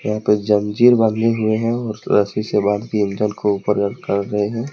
यहां पे जंजीर बंधे हुए हैं और रस्सी से बांध के इंजन को ऊपर लटका रहे हैं।